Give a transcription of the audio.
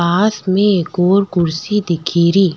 पास में एक और कुर्सी दिखेरी।